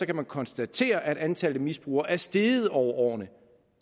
kan konstatere at antallet af misbrugere er steget over årene og